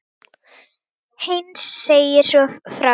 Heinz segir svo frá: